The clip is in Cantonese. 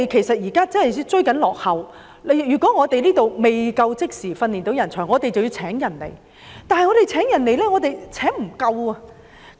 香港真的很落後，如果我們未能即時培訓人才，便要聘請人才，但我們又無法聘得足夠人手。